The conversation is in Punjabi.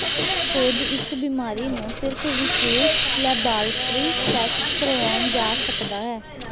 ਖੋਜ ਇਸ ਬਿਮਾਰੀ ਨੂੰ ਸਿਰਫ ਵਿਸ਼ੇਸ਼ ਲੈਬਾਰਟਰੀ ਟੈਸਟ ਕਰਵਾਉਣ ਜਾ ਸਕਦਾ ਹੈ